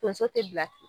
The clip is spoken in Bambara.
Tonso tɛ bila ten